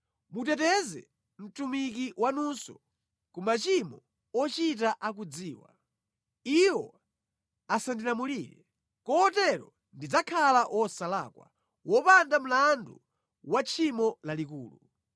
Muteteze mtumiki wanunso ku machimo ochita akudziwa; iwo asandilamulire. Kotero ndidzakhala wosalakwa, wopanda mlandu wa tchimo lalikulu.